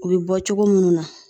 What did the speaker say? O bi bɔ cogo munnu na.